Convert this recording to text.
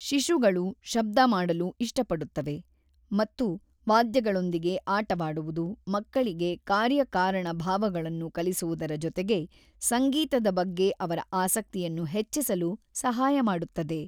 ಶಿಶುಗಳು ಶಬ್ದ ಮಾಡಲು ಇಷ್ಟಪಡುತ್ತವೆ ಮತ್ತು ವಾದ್ಯಗಳೊಂದಿಗೆ ಆಟವಾಡುವುದು ಮಕ್ಕಳಿಗೆ ಕಾರ್ಯಕಾರಣ ಭಾವಗಳನ್ನು ಕಲಿಸುವುದರ ಜೊತೆಗೆ ಸಂಗೀತದ ಬಗ್ಗೆ ಅವರ ಆಸಕ್ತಿಯನ್ನು ಹೆಚ್ಚಿಸಲು ಸಹಾಯ ಮಾಡುತ್ತದೆ.